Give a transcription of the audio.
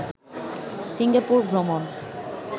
Singapore ভ্রমন